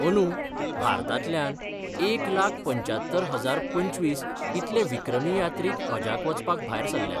अंदु भारतांतल्यान एक लाख पंच्च्यात्तर हजार पंचवीस इतले विक्रमी यात्रिक हजाक वचपाक भायर सरल्यात.